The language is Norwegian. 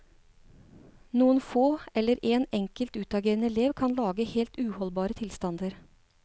Noen få eller en enkelt utagerende elev kan lage helt uholdbare tilstander.